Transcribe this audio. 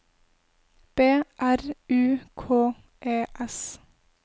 B R U K E S